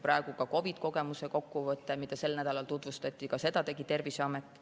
Ka COVID-i kogemuse kokkuvõtte, mida sel nädalal tutvustati, tegi Terviseamet.